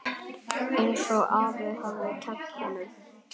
Einsog afi hafði kennt honum.